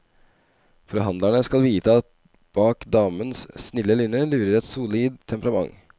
Forhandlerne skal vite at bak damens snille lynne lurer et solid temperament.